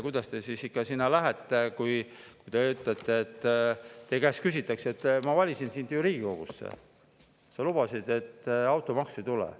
Kuidas te sinna lähete, kui teile: "Ma valisin sind Riigikogusse ja sa lubasid, et automaksu ei tule.